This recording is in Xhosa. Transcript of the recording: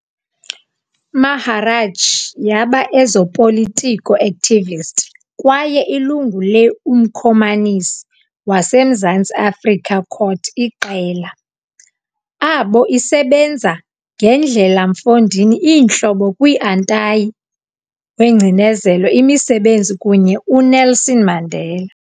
Maharaj yaba ezopolitiko activist kwaye ilungu le - umkomanisi wase mzanzi Afrika Cot Iqela, abo isebenza ngendlela mfondini iintlobo kwi-antayi-wengcinezelo imisebenzi kunye Unelson Mandela.